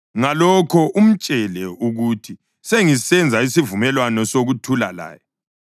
Ngalokho umtshele ukuthi sengisenza isivumelwano sokuthula laye.